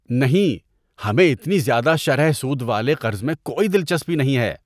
نہیں! ہمیں اتنی زیادہ شرح سود والے قرض میں کوئی دلچسپی نہیں ہے۔